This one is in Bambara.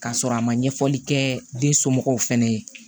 K'a sɔrɔ a ma ɲɛfɔli kɛ den somɔgɔw fɛnɛ ye